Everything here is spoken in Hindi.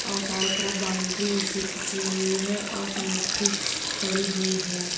और चारों तरफ बाउंड्री ऐसी खींची हुई है और सब मिट्टी पड़ी हुई है।